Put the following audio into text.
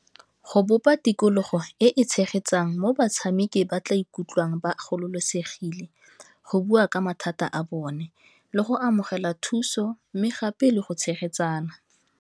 Go bopa tikologo e e tshegetsang mo batshameki ba tla ikutlwang ba gololosegile go bua ka mathata a bone, le go amogela thuso mme gape le go tshegetsana.